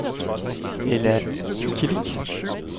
Ella Kilic